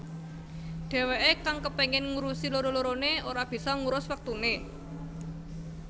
Dheweké kang kepengin ngurusi loro loroné ora bisa ngurus wektuné